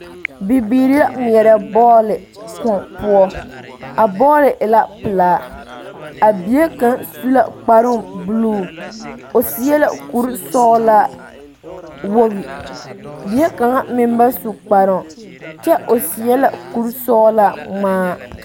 Bibiiri la ŋmeɛrɛ bɔɔli Kóɔ poɔ a bɔɔli e la pelaa a bie kaŋ su la kparoo buluu o seɛ la kuri sɔgelaa wogi bie kaŋa meŋ ba su kparoo kyɛ o seɛ la kuri sɔgelaa ŋmaa